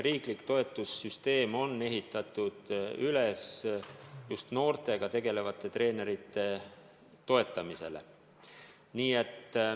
Riiklik toetussüsteem on ehitatud üles just noortega tegelevate treenerite toetamisele.